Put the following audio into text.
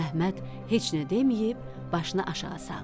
Əhməd heç nə deməyib başını aşağı saldı.